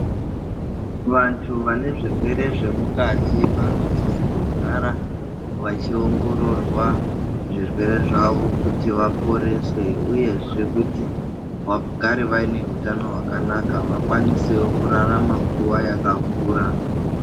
Vantu vane zvirwere zvemukati vanosisa kugara vachiongororwa zvirwere zvavo kuti vaporeswe. Uyezve kuti vagare vane hutano kuti vakwanise kurarama nguwa yakareba.